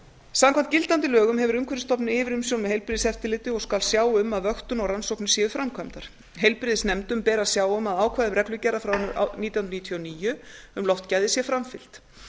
samkvæmt gildandi lögum hefur umhverfisstofnun yfirumsjón með heilbrigðiseftirliti og skal sjá um að vöktun og rannsóknir séu framkvæmdar heilbrigðisnefndum ber að sjá um að ákvæðum reglugerða frá nítján hundruð níutíu og níu um loftgæði sé framfylgt